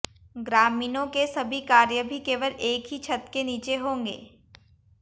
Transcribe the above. ग्रामीणों के सभी कार्य भी केवल एक ही छत के नीचे होंगे